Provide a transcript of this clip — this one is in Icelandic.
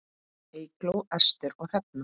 Eygló, Ester og Hrefna.